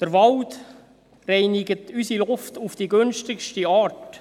Der Wald reinigt unsere Luft auf die günstigste Art.